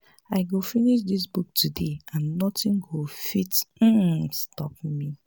i go finish dis book today and nothing go fit um stop me